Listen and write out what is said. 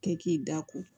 Kɛ k'i da ko